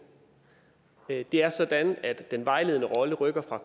det er sådan at den vejledende rolle rykker fra